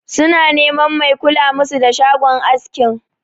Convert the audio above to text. Su na neman mai kula musu da shagon askin.